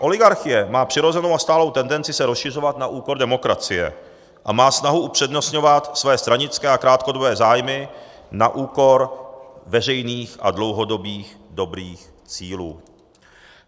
Oligarchie má přirozenou a stálou tendenci se rozšiřovat na úkor demokracie a má snahu upřednostňovat své stranické a krátkodobé zájmy na úkor veřejných a dlouhodobých dobrých cílů.